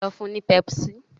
lọ fún ní pepsi